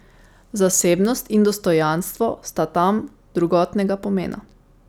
Zasebnost in dostojanstvo sta tam drugotnega pomena.